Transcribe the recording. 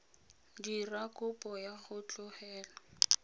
dira kopo ya go tlogela